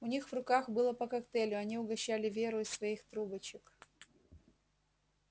у них в руках было по коктейлю они угощали веру из своих трубочек